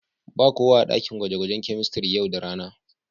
Ba kowa a daƙin gwaje-gwajen kemistiri yau da rana.